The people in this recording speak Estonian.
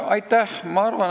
Aitäh!